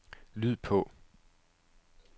lyd på